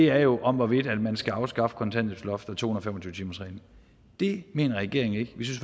er jo om hvorvidt man skal afskaffe kontanthjælpsloftet og to hundrede og fem og tyve timersreglen det mener regeringen ikke vi